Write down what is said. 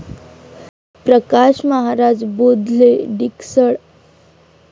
Prakash Maharaj Bodhle, Diksal